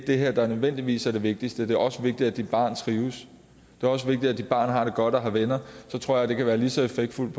det her der nødvendigvis er det vigtigste det også vigtigt at dit barn trives og det er også vigtigt at dit barn har det godt og har venner så tror jeg det kan være lige så effektfuldt